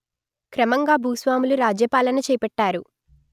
క్రమంగా భూస్వాములు రాజ్యపాలన చేపట్టారు